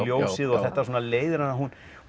ljósið þetta leiðir að að hún